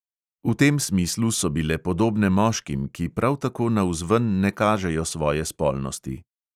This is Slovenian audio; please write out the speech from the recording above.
V tem smislu so bile podobne moškim, ki prav tako navzven ne kažejo svoje spolnosti.